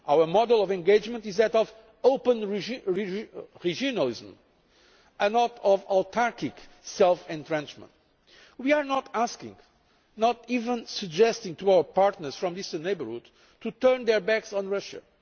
one. Our model of engagement is that of open regionalism, not of autarchic self entrenchment. We are not asking nor even suggesting to our partners from the Eastern Neighbourhood to turn their backs on